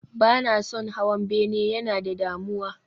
Ba na son hawan bene, yana da damuwa